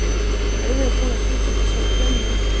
Hann verður að komast út úr þessari klemmu.